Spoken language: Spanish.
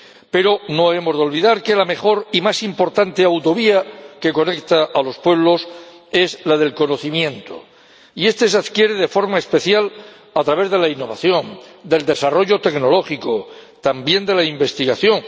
Pero no hemos de olvidar que la mejor y más importante autovía que conecta a los pueblos es la del conocimiento, y este se adquiere de forma especial a través de la innovación, del desarrollo tecnológico, también de la investigación.